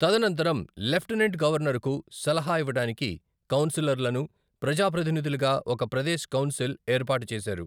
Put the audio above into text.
తదనంతరం లెఫ్టినెంట్ గవర్నరుకు సలహా ఇవ్వడానికి కౌన్సిలర్లను ప్రజా ప్రతినిధులుగా ఒక 'ప్రదేశ్ కౌన్సిల్' ఏర్పాటు చేశారు.